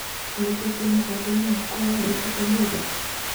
Nĩkĩĩ kĩ mũbango-inĩ wakwa wa gwĩka ũmũthĩ .